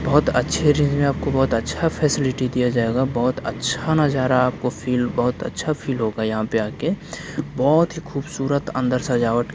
बहोत अच्छे रेंज में आपको बहुत अच्छा फेसिलिटी दिया जाएगा बहुत अच्छा नज़ारा आपको फिल बहोत अच्छा फिल होगा यहां पे आके बहुत ही खूबसूरत अंदर सजावट।